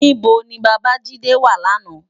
Nibó ni Babajide wá làná?